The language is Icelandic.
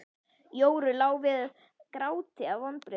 Jóru lá við gráti af vonbrigðum.